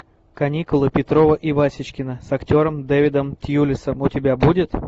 каникулы петрова и васечкина с актером дэвидом тьюлисом у тебя будет